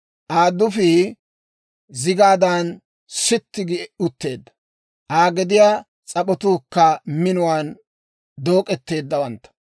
Aa dufii zigaadan sitti gi utteedda; Aa gediyaa s'ap'otuukka minuwaan dook'eteeddawantta.